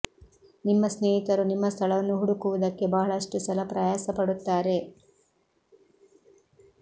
ನಿಮ್ಮ ಸ್ನೇಹಿತರು ನಿಮ್ಮ ಸ್ಥಳವನ್ನು ಹುಡುಕುವುದಕ್ಕೆ ಬಹಳಷ್ಟು ಸಲ ಪ್ರಯಾಸ ಪಡುತ್ತಾರೆ